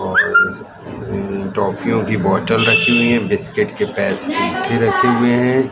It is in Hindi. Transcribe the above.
टॉफियों की बॉटल रखी हुई है बिस्किट के पैसे की रखे हुए हैं।